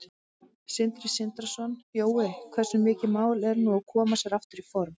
Sindri Sindrason: Jói, hversu mikið mál er nú að koma sér aftur í form?